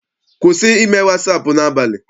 Kwụsị ime wasaapụ n'abalị!